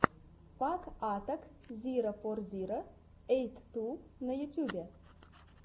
пак атак зиро фор зиро эйт ту на ютюбе